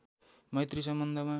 मैत्री सम्बन्धमा